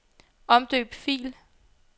Omdøb fil.